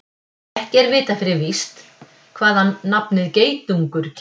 Ekki er vitað fyrir víst hvaðan nafnið geitungur kemur.